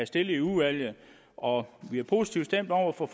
stillet i udvalget og vi er positivt stemt over for